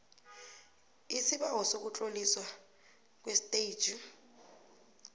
isibawo sokutloliswa kwestetjhi